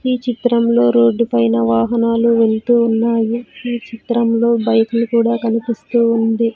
ఈ చిత్రంలో రోడ్డు పైన వాహనాలు వెళ్తూ ఉన్నాయి ఈ చిత్రంలో బైకులు కూడా కనిపిస్తూ ఉంది.